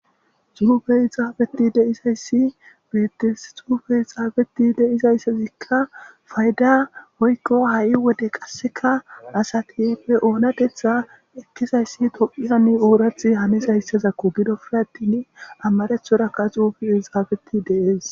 Xuufey xaafeti de'izayssi beetees xuufey xaafeti de'zayssika xuufezika payda woykko ha'i wode qassika asati be oonateththa ekkizassi Tophphiyan oraththa hanizayssako gidoppe attin amarathorakka xuufezi xaafeti de'es.